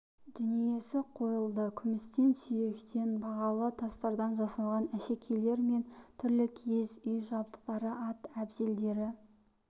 дүниесі қойылды күмістен сүйектен бағалы тастардан жасалған әшекейлер мен түрлі киіз үй жабдықтары ат әбзелдері